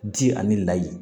Ji ani layi